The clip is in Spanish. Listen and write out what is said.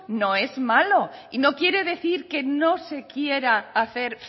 no es malo y no quiere decir que no se quiera hacer